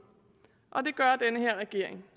her regering